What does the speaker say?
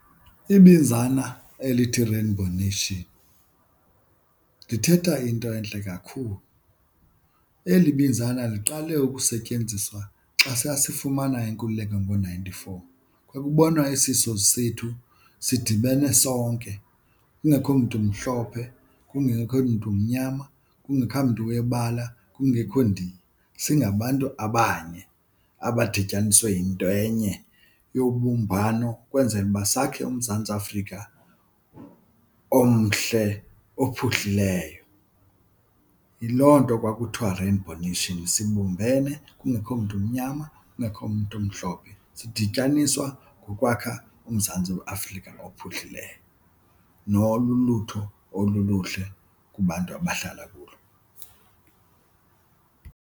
Ibinzana elithi rainbow nation lithetha into entle kakhulu. Eli binzana liqale ukusetyenziswa xa sasifumana inkululeko ngo-ninety-four. Kwakubonwa isizwe sethu sidibene sonke kungekho mntu umhlophe, kungekho mntu umnyama, kungekho mntu webala, kungekho Ndiya, singabantu abanye abadityaniswe yinto enye yobumbano ukwenzela uba sakhe uMzantsi Afrika omhle ophuhlileyo. Yiloo nto kwakuthiwa rainbow nation, sibumbene kungekho mntu umnyama kungekho mntu umhlophe, sidityaniswa kukwakha uMzantsi Afrika ophuhlileyo nolulutho oluluhle kubantu abahlala kulo.